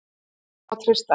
Honum má treysta.